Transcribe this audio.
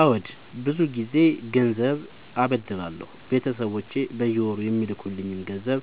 አዎድ ብዙ ግዜ ገንዘብ አበደራለሁ ቤተሰቦቼ በየወሩ የሚልኩልኝ ገንዘብ